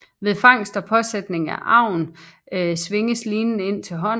Ved fangst og påsætning af agn svinges linen ind til hånden